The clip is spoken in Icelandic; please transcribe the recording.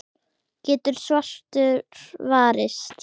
getur svartur varist.